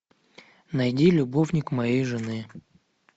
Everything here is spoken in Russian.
найди любовник моей жены